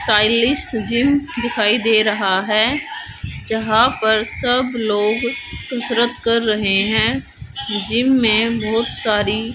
stylish gym दिखाई दे रहा है जहां पर सब लोग कसरत कर रहे हैं जिम में बहोत सारी--